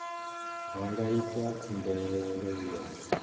vha nga ita khumbelo ya